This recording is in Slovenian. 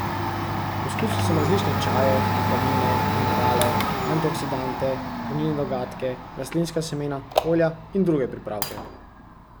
Poskusil sem različne čaje, vitamine, minerale, antioksidante, hranilne dodatke, rastlinska semena, olja in druge pripravke.